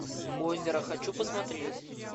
озеро хочу посмотреть